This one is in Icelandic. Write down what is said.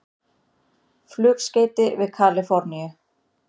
Flugskeyti við Kalíforníu